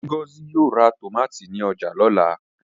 Ngozi yóò ra tòmátì ní ọjà lọ́la.